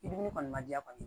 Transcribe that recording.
I diminen kɔni ma diya kɔni